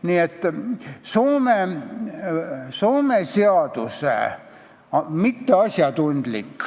Nii et Soome seaduse mitteasjatundlik